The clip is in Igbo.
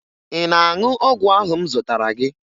Ị na-aṅụ ọgwụ ahụ m zụtara gị?